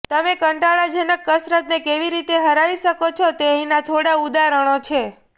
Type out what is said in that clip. તમે કંટાળાજનક કસરતને કેવી રીતે હરાવી શકો છો તે અહીંના થોડા ઉદાહરણો છે